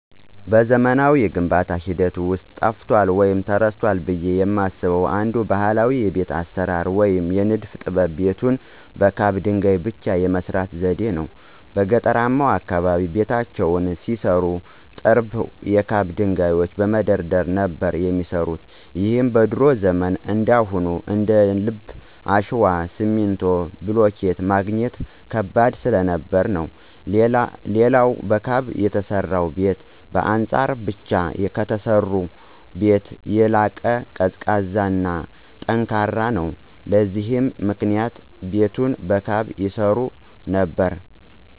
በዘመናዊው የግንባታ ሂደት ውስጥ ጠፍቷል ወይም ተረስቷል ብየ የማስበው አንድ ባህላዊ የቤት አሰራር ወይም የንድፍ ጥበብ ቤትን በካብ ድንገይ ብቻ የመስራት ዘዴን ነው። በገጠርማው አካባቢ ቤታቸውን ሲሰሩ ጥርብ የካብ ድንጋዮችን በመደርደር ነበር የሚሰሩት ይህም በድሮ ዘመን እንዳሁኑ እንደልብ አሸዋ፣ ሲሚንቶ፣ ብሎኬት ማግኘት ከባድ ስለነበር ነው። ሌላው በካብ የተሰራ ቤት በአጸር ብቻ ከተሰራ ቤት ይልቅ ቀዝቃዛ እና ጠንካራም ነው። ለዚህም ምክንያት ቤትን በካብ ይሰሩ ነበር።